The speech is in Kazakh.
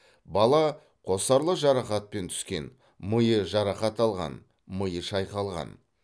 бала қосарлы жарақатпен түскен миы жарақат алған миы шайқалған